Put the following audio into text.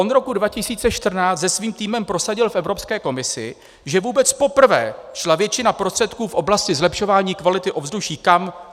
Od roku 2014 se svým týmem prosadil v Evropské komisi, že vůbec poprvé šla většina prostředků v oblasti zlepšování kvality ovzduší - kam?